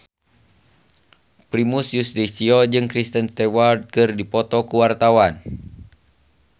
Primus Yustisio jeung Kristen Stewart keur dipoto ku wartawan